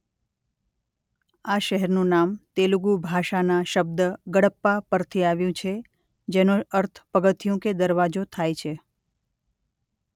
આ શહેરનું નામ તેલુગુ ભાષાના શબ્દ ગડપ્પા પરથી આવ્યું છે જેનો અર્થ પગથિયું કે દરવાજો થાય છે.